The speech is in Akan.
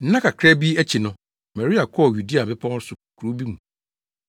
Nna kakra bi akyi no, Maria kɔɔ Yudea mmepɔw so kurow bi mu.